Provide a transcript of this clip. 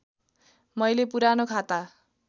मैले पुरानो खाता